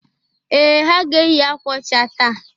Ee! Ha ga-eyi akwa ọcha taa.